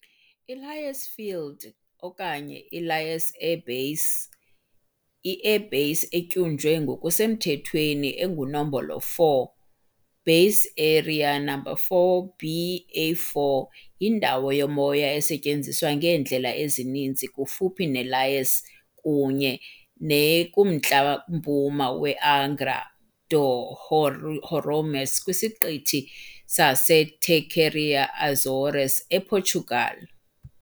I-Lajes Field okanye i-Lajes Air Base, i-Air Base etyunjwe ngokusemthethweni enguNombolo 4, "Base Aérea Number 4", BA4, yindawo yomoya esetyenziswa ngeendlela ezininzi kufuphi neLajes kunye ne kumntla-mpuma weAngra do Heroísmo kwiSiqithi saseTerceira eAzores, ePortugal.